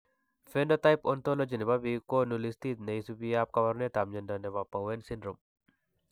Phenotype Ontology ne po biik ko konu listiit ne isubiap kaabarunetap mnyando ne po Bowen syndrome.